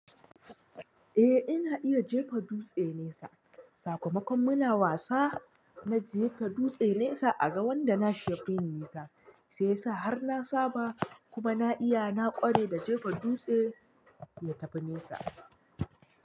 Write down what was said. Eh ina iya jefa dutse nesa. Sakomakon muna wasa na jefa dutse nesa a ga wanda na shafi nesa, sai sa har na saba kuma na iya na ƙware da jefa dutse ya tafi nesa.